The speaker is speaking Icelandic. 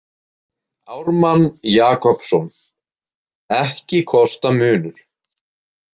Ármann Jakobsson, „Ekki kosta munur.